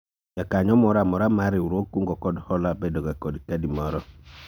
Jakanyo moro amora mar riwruog kungo kod hola bedo ga kod kadi moro